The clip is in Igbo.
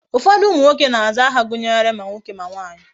Ufodu umu nwoke na aza aha gunyere ma nwoke ma nwanyi